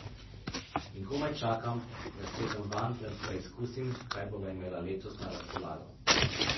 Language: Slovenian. In komaj čakam, da sedem vanj ter preskusim, kaj bova imela letos na razpolago.